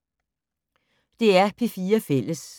DR P4 Fælles